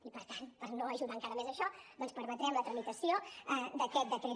i per tant per no ajudar encara més a això doncs permetrem la tramitació d’aquest decret